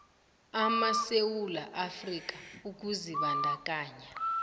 amasewula afrika ukuzibandakanya